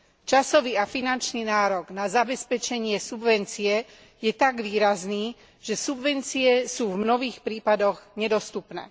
Časový a finančný nárok na zabezpečenie subvencie je tak výrazný, že subvencie sú v mnohých prípadoch nedostupné.